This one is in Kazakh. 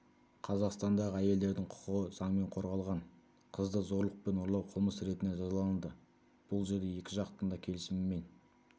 қазақстандағы әйелдердің құқығы заңмен қорғалған қызды зорлықпен ұрлау қылмыс ретінде жазаланады бұл жерде екі жақтың келісімімен